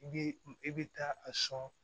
I bɛ i bɛ taa a sɔn